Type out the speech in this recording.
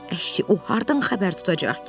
Əşi o hardan xəbər tutacaq ki?